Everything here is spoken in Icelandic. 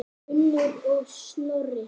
Unnur og Snorri.